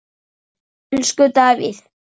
Elsku Davíð.